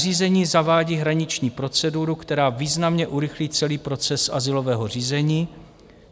Nařízení zavádí hraniční proceduru, která významně urychlí celý proces azylového řízení.